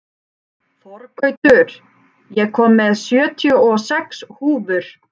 Þorgautur, ég kom með sjötíu og sex húfur!